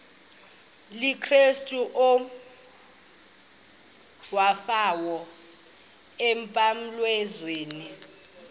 likakrestu owafayo emnqamlezweni